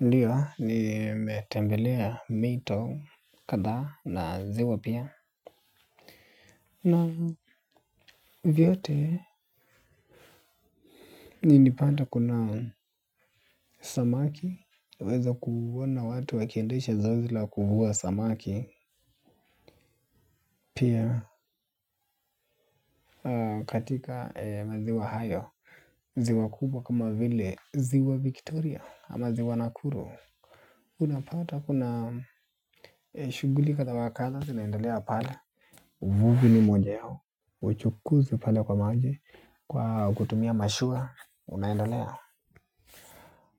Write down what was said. Ndio ni nimetembelea mito kadhaa na ziwa pia. Na vyote nilipata kuna samaki. Weza kuona watu wakiendesha zoezi la kuvua samaki pia katika maziwa hayo ziwa kubwa kama vile ziwa victoria ama ziwa nakuru. Unapata kuna shughuli kadha wa kadha zinaindalea pale. Vuvi ni mwenyeo, uchukuzi pale kwa maji kwa kutumia mashua, unaendelea.